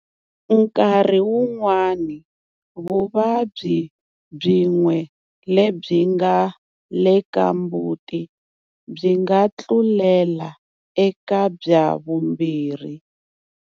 Nkarhi wun'wana vuvabyi byin'we lebyinga le ka mbuti byi nga tlulela eka bya vumbirhi.